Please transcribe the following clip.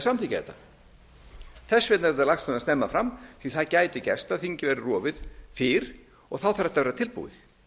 samþykkja þetta þess vegna er þetta lagt svona snemma fram því það gæti gerst að þingið væri rofið fyrr og þá þarf þetta að vera tilbúið